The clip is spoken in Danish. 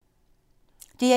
DR1